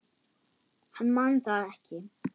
Hann man það ekki.